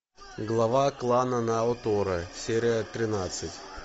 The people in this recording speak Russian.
глава клана наотора серия тринадцать